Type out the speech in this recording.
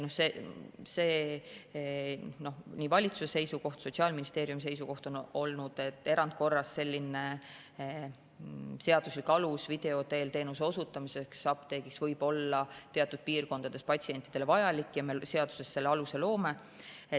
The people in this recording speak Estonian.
Nii valitsuse seisukoht kui ka Sotsiaalministeeriumi seisukoht on olnud, et erandkorras antav seaduslik alus video teel teenuse osutamiseks apteegis võib olla teatud piirkondades patsientidele vajalik, ja me seaduses selle aluse loome.